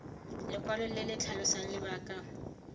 lekwalo le le tlhalosang lebaka